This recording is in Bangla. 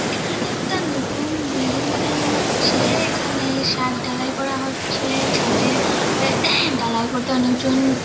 এখানে একটা নতুন বিল্ডিং বানানো হয়েছে | এখানে ছাদ ঢালাই করা হচ্ছে ছাদে উম ঢালাই করতে অনেকজন --